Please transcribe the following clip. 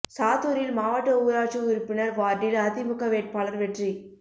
சாத்தூரில் மாவட்ட ஊராட்சி உறுப்பினா் வாா்டில் அதிமுக வேட்பாளா் வெற்றி